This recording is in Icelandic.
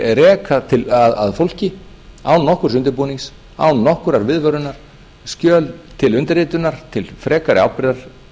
að reka að fólki án nokkurs undirbúnings án nokkurrar viðvörunar skjöl til undirritunar til frekari ábyrgðar